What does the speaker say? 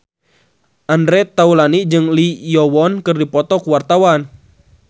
Andre Taulany jeung Lee Yo Won keur dipoto ku wartawan